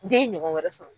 Den ye ɲɔgɔn wɛrɛ sɔrɔ